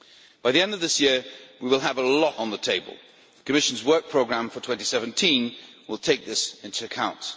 By the end of this year we will have a lot on the table. The Commission Work Programme for 2017 will take this into account.